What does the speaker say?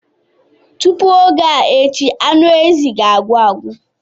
Tupu oge a echi anụ ezi ga-agwụ agwụ.